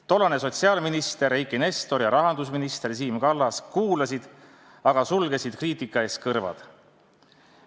Tollane sotsiaalminister Eiki Nestor ja rahandusminister Siim Kallas kuulasid, aga sulgesid kriitika ees kõrvad.